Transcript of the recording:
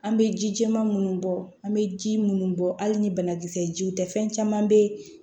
An bɛ ji jɛman munnu bɔ an bɛ ji munnu bɔ hali ni banakisɛ jiw tɛ fɛn caman bɛ yen